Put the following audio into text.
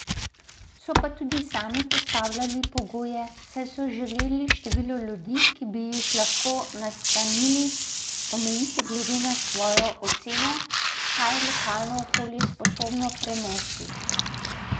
So pa tudi sami postavljali pogoje, saj so želeli število ljudi, ki bi jih lahko nastanili, omejiti glede na svojo oceno, kaj je lokalno okolje sposobno prenesti.